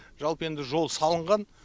жалпы енді жол салынған